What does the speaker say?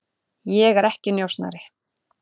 Ég er ekki njósnari.